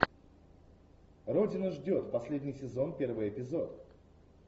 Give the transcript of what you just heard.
родина ждет последний сезон первый эпизод